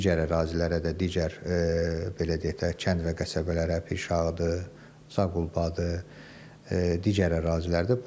Digər ərazilərə də, digər belə deyək də, kənd və qəsəbələrə, Pirşağıdır, Zağulbadır, digər ərazilərdir.